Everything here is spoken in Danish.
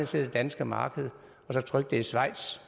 til det danske marked i schweiz